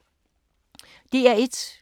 DR1